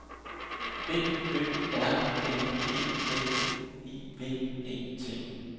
B Ø R N E L I V E T